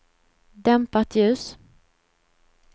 dämpat ljus